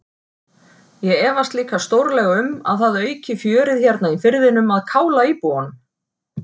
Ég efast líka stórlega um að það auki fjörið hérna í firðinum að kála íbúunum.